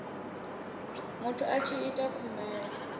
muthu a tshi ita khumbelo